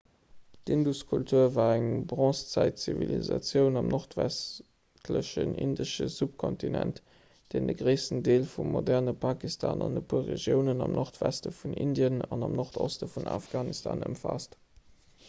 d'induskultur war eng bronzezäitzivilisatioun am nordwestlechen indesche subkontinent deen de gréissten deel vum moderne pakistan an e puer regiounen am nordweste vun indien an am nordoste vun afghanistan ëmfaasst